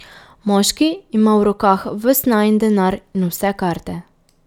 Moški ima v rokah ves najin denar in vse karte.